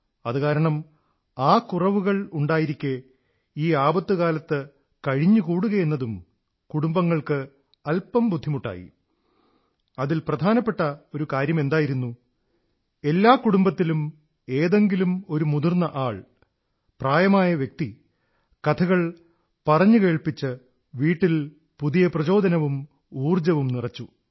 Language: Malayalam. അതുകാരണം ആ കുറവുകളുണ്ടായിരിക്കെ ഈ ആപത്തുകാലത്തു കഴിഞ്ഞുകൂടുകയെന്നതും കുടുംബങ്ങൾക്ക് അല്പം ബുദ്ധിമുട്ടായി അതിൽ പ്രാധാനപ്പെട്ട ഒരു കാര്യമെന്തായിരുന്നു എല്ലാ കുടുംബത്തിലും ഏതെങ്കിലുമൊരു മുതിർന്ന ആൾ പ്രായമായ വ്യക്തി കഥകൾ പറഞ്ഞു കേൾപ്പിച്ചു വീട്ടിൽ പുതിയ പ്രേരണയും ഊർജ്ജവും നിറച്ചു